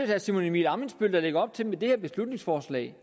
herre simon emil ammitzbøll der med det her beslutningsforslag